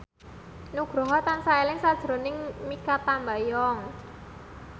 Nugroho tansah eling sakjroning Mikha Tambayong